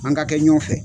An ka kɛ ɲɔgɔn fɛ